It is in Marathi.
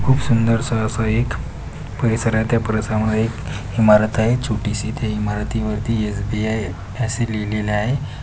खूप सुंदरस अस एक परिसर आहे त्या परिसरामध्ये एक इमारत आहे छोटीसी त्या इमारतीवर एस_बी_आय अस लिहलेल आहे.